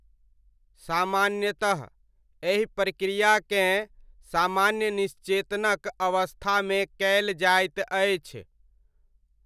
सामान्यतः एहि प्रक्रियाकेँ सामान्य निश्चेतनक अवस्थामे कयल जाइत अछि।